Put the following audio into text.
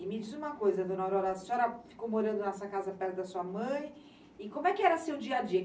E me diz uma coisa, dona Aurora, a senhora ficou morando nessa casa perto da sua mãe, e como é que era seu dia a dia?